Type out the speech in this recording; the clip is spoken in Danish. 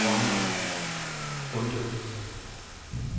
Ronni Bonde